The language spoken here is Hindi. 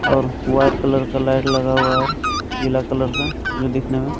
और व्हाइट कलर का लाइट लगा हुआ है पीला कलर का दिखने में --